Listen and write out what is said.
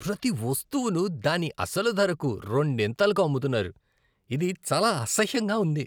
ప్రతి వస్తువును దాని అసలు ధరకు రెండింతలకు అమ్ముతున్నారు. ఇది చాలా అసహ్యంగా ఉంది.